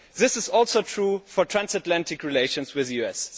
This is also true for transatlantic relations with the US.